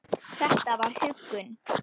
Þetta var huggun.